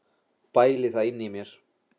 Bæli það inni í mér.